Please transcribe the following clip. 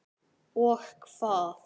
Og hvað?